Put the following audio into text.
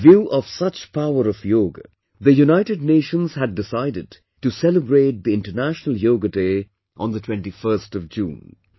In view of such power of yoga, the United Nations had decided to celebrate the International Yoga Day on the 21st of June